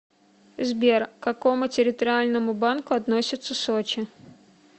сбер к какому территориальному банку относится сочи